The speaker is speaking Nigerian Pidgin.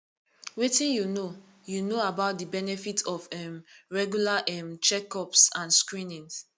wetin you know you know about di benefits of um regular um checkups and screenings